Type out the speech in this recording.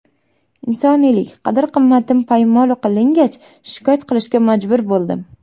Insoniylik qadr-qimmatim poymol qilingach, shikoyat qilishga majbur bo‘ldim.